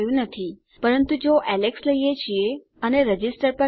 પરંતુ જો એલેક્સ લઈએ છીએ અને રજિસ્ટર પર ક્લિક કરીએ છીએ તેને ગણતરીમાં લેવાય છે